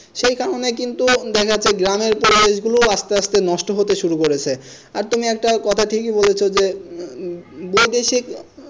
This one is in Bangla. সেই কারণে কিন্তু দেখা যাচ্ছে গ্রামের পরিবেষ গুলো আস্তে আস্তে নষ্ট হতে শুরু করেছে আর তুমি একটা কথা ঠিকই বলেছ যে উম বৈদেশিক